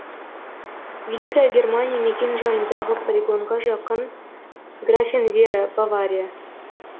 великая германия мекенжайындағы полигонға жақын графенвера бавария